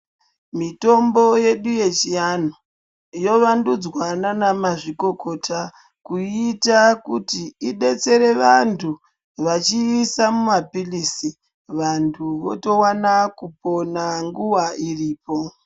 Mitombo yedu ye chi anhu yo wandudzwa nana ma zvikokota kuiita kuti idetsere vantu vachiisa mu mapirizi vantu voto wana kupona nguva iripo .